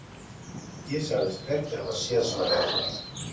Ég sagðist hvergi hafa séð svona vefnað.